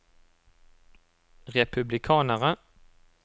republikanere